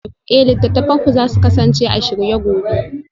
Eh littattafanku za su kasance a shirye gobe